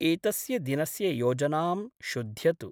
एतस्य दिनस्य योजनां शुध्यतु।